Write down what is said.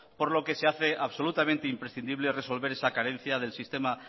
por lo que se hace absolutamente imprescindible resolver esa carencia del sistema